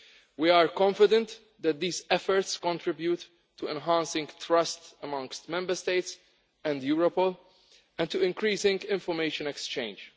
We are confident that these efforts contribute to enhancing trust amongst Member States and Europol and to increasing information exchange.